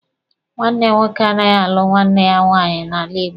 Nwanne nwoke anaghị alụ nwanne ya nwaanyị n'ala Igbo.